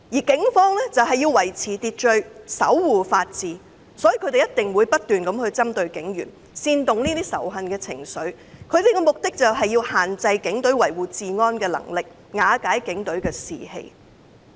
警方必須維持秩序，守護法治，所以這些人不斷針對警員，煽動仇恨情緒，目的就是要限制警隊維護治安的能力，瓦解警隊士氣。